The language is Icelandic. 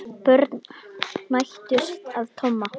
Börn hændust að Tomma.